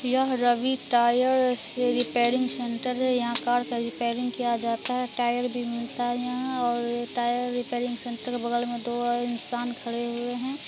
यह Ravi tyre repairing centre हैं यहाँ कार का रेपेरिंग किया जाता हैं टायर भी मिलता है नया और टायर रिपेयरिंग सेण्टर बगल में दो इंसान खड़े हुए हैं।